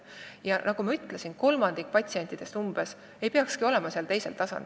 Ja nagu ma ütlesin, umbes kolmandik patsientidest ei peakski olema seal teisel tasandil.